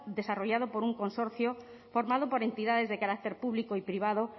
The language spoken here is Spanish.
desarrollado por un consorcio formado por entidades de carácter público y privado